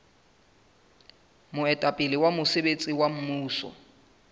moetapele wa mosebetsi wa mmuso